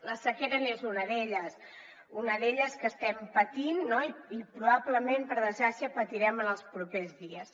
la sequera és una d’elles una d’elles que estem patint no i probablement per desgràcia patirem en els propers dies